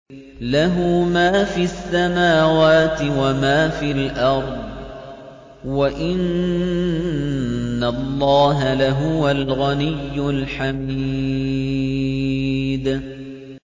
لَّهُ مَا فِي السَّمَاوَاتِ وَمَا فِي الْأَرْضِ ۗ وَإِنَّ اللَّهَ لَهُوَ الْغَنِيُّ الْحَمِيدُ